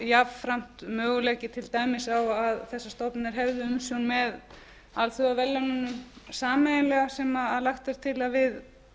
jafnframt möguleiki til dæmis á að þessar stofnanir hefðu umsjón með alþjóðaverðlaununum sameiginlega sem lagt er til að við